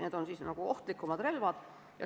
Need on nagu ohtlikumad relvad.